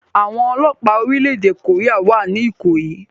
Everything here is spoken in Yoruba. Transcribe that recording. Àwọn ọlọ́pàá orílẹ̀-èdè Korea wà ní Ikoyi